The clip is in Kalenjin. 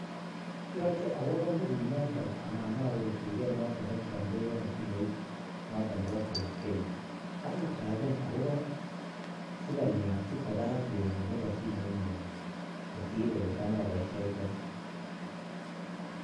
Yoche owo kompunit noton anan owe tuket nekioldewon simoit notok Nebo postpaid akateben akobo amune sikowo barak beit nebo simoinyun kosir ole tam oboistoitoi.